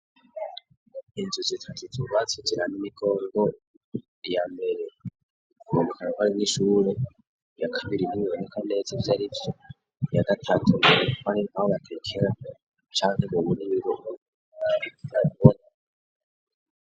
Inzu zitatiza uubatsu jirana imigoe ngo iyamere uukarakare n'ishure yakabira ininyontiko neza vy' ari vyo yadatatumearikoane aulatrekela canke bubu n'ibirunu ttagwo.